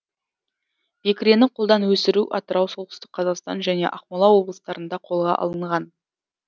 бекірені қолдан өсіру атырау солтүстік қазақстан және ақмола облыстарында қолға алынған